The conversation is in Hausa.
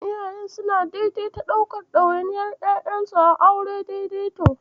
Iyaye suna daidaita ɗaukan ɗawainiyar ƴaƴansu a auren daidaito.